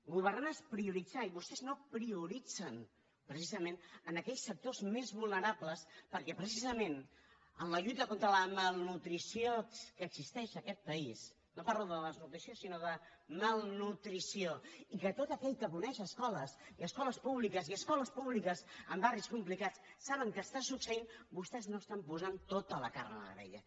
governar és prioritzar i vostès no prioritzen precisament en aquells sectors més vulnerables perquè precisament en la lluita contra la malnutrició que existeix en aquest país no parlo de desnutrició sinó de malnutrició i que tot aquell que coneix escoles i escoles públiques i escoles públiques en barris complicats sap què està succeint vostès no estan posant tota la carn a la graella